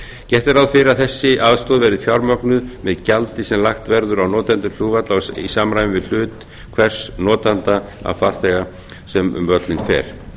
gert er ráð fyrir að þessi aðstoð verði fjármögnuð með gjaldi sem lagt verður á notanda flugvallar í samræmi við hlut hvers notanda af farþega sem um völlinn fer